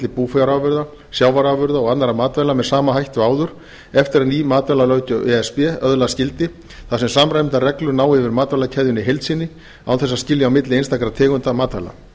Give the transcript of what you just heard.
búfjárafurða sjávarafurða og annarra matvæla með sama hætti og áður eftir að ný matvælalöggjöf e s b öðlast gildi þar sem samræmdar reglur ná yfir matvælakeðjuna í heild sinni án þess að skilja á milli einstakra tegunda matvæla